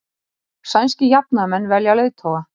Sænskir jafnaðarmenn velja leiðtoga